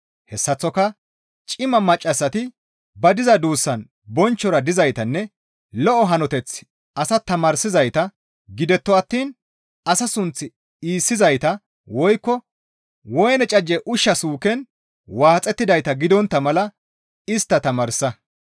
Hessaththoka cima maccassati ba diza duussan bonchchora dizaytanne lo7o hanoteth asa tamaarsizayta gidetto attiin asa sunth iissizayta woykko woyne cajje ushsha suuken waaxettidayta gidontta mala istta tamaarsa.